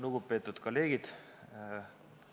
Lugupeetud kolleegid!